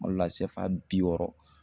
Kuma dɔ la CFA bi wɔɔrɔ